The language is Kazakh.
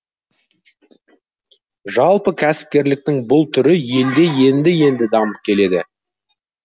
жалпы кәсіпкерліктің бұл түрі елде енді енді дамып келеді